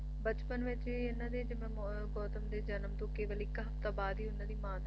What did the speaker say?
ਬਚਪਨ ਵਿੱਚ ਹੀ ਇਹਨਾਂ ਦੇ ਜਿਹੜੇ ਗੌਤਮ ਦੇ ਜਨਮ ਤੋਂ ਕੇਵਲ ਇੱਕ ਹਫਤਾ ਬਾਅਦ ਹੀ ਉਹਨਾਂ ਦੀ ਮਾਂ ਦਾ